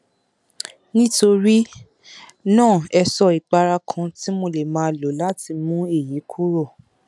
nítorí náà ẹ sọ ìpara kan tí mo lè máa lò láti mú èyí kúrò